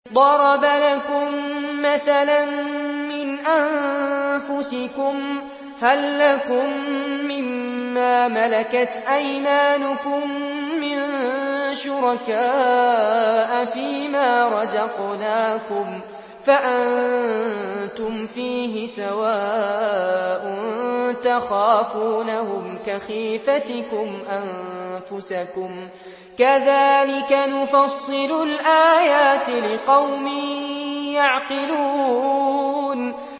ضَرَبَ لَكُم مَّثَلًا مِّنْ أَنفُسِكُمْ ۖ هَل لَّكُم مِّن مَّا مَلَكَتْ أَيْمَانُكُم مِّن شُرَكَاءَ فِي مَا رَزَقْنَاكُمْ فَأَنتُمْ فِيهِ سَوَاءٌ تَخَافُونَهُمْ كَخِيفَتِكُمْ أَنفُسَكُمْ ۚ كَذَٰلِكَ نُفَصِّلُ الْآيَاتِ لِقَوْمٍ يَعْقِلُونَ